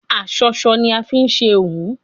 Aṣọṣọ ni a fi ṣe hun